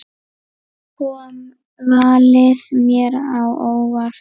Kom valið mér á óvart?